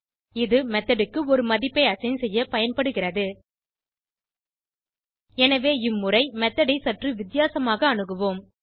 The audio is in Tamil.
இது மெத்தோட் க்கு ஒரு மதிப்பை அசைன் செய்ய பயன்படுகிறது எனவே இம்முறை மெத்தோட் ஐ சற்று வித்தியாசமாக அணுகுவோம்